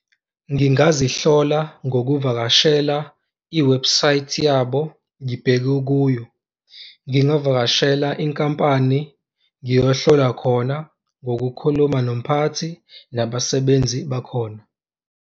Ngingazihlola ngokuvakashela iwebhusayithi yabo ngibheke kuyo, ngingavakashela inkampani ngiyohlola khona ngokukhuluma nomphathi nabasebenzi bakhona.